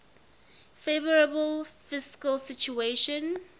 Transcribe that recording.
favourable fiscal situation